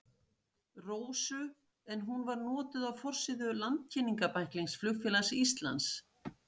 Rósu en hún var notuð á forsíðu landkynningarbæklings Flugfélags Íslands.